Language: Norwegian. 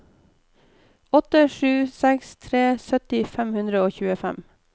åtte sju seks tre sytti fem hundre og tjuefem